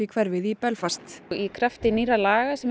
hverfið í Belfast í krafti nýrra laga sem